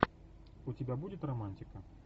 у тебя будет романтика